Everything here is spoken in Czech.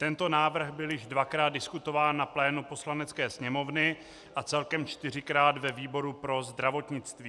Tento návrh byl již dvakrát diskutován na plénu Poslanecké sněmovny a celkem čtyřikrát ve výboru pro zdravotnictví.